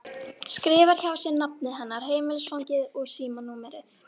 Skrifar hjá sér nafnið hennar, heimilisfangið og símanúmerið.